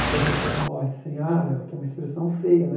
Porque a pessoa que morre sem ar, ela tem uma expressão feia, né?